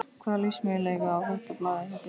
Hvaða lífsmöguleika á þetta blað hjá þér?